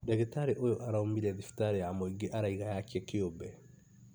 Ndagĩtarĩ ũyũ araũmire thibitarĩ ya mũingĩ araiga yake kĩũmbe